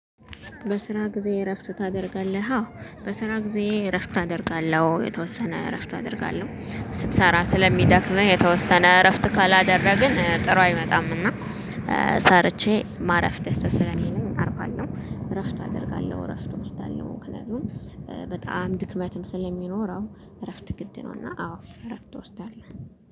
በስራ ጊዜ እረፍት ታደርጋለሃ? በስራ ጊዜ እረፍት አደርጋለው የተወሰነ እረፍት አደርጋለው ስትሰራ ስለሚደክመኝ የተወሰነ እረፍት ካላደረግን ጥሩ አይመጣምና ሰርቼ ማረፍ ደስ ስለሚልም አርፋለው እረፍት አደርጋለሁ እረፍት እወስዳለሁ ደግሞ በጣም ድክመትም ስለሚኖረው እረፍት ግድ ነው እና አዎ እረፍት ወስዳለሁ።